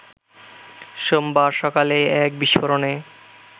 সোমবার সকালে এক বিস্ফোরণে